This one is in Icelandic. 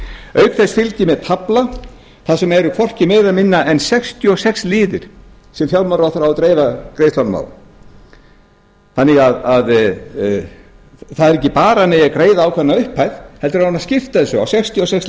auk þess fylgir með tafla þar sem eru hvorki meira né minna en sextíu og fimm liðir sem fjármálaráðherra á að dreifa greiðslunum á þannig að það er ekki bara að það eigi að greiða ákveðna upphæð heldur á hann að skipta þessu á sextíu og sex